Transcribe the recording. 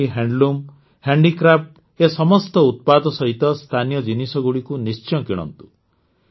ଖଦି handloom handicraft ଏ ସମସ୍ତ ଉତ୍ପାଦ ସହିତ ସ୍ଥାନୀୟ ଜିନିଷଗୁଡ଼ିକୁ ନିଶ୍ଚୟ କିଣନ୍ତୁ